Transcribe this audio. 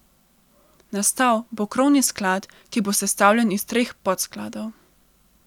Nastal bo krovni sklad, ki bo sestavljen iz treh podskladov.